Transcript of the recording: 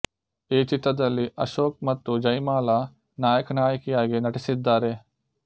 ಈ ಚಿತ್ರದಲ್ಲಿ ಅಶೋಕ್ ಮತ್ತು ಜೈಮಾಲ ನಾಯಕ ನಾಯಕಿಯಾಗಿ ನಟಿಸಿದ್ದಾರೆ